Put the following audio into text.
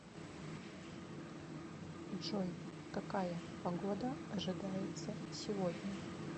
джой какая погода ожидается сегодня